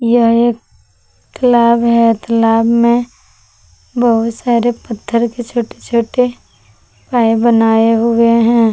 यह एक तालाब है तालाब में बहुत सारे पत्थर के छोटे छोटे पाए बनाए हुए हैं।